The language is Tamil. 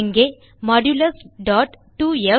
இங்கே1602f